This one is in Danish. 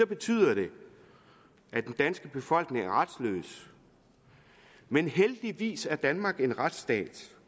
betyder det at den danske befolkning er retsløs men heldigvis er danmark en retsstat